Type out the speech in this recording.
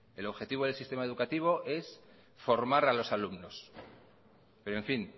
el objetivo del sistema educativo es formar a los alumnos pero en fin